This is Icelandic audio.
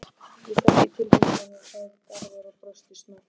Ég þekki tilfinninguna, segir Garðar og brosir snöggt.